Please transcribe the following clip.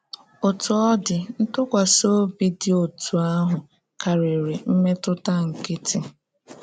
Ọ́tú ọ̀ dị, ntụkwasị obi dị otú ahụ karịrị mmetụta nkịtị.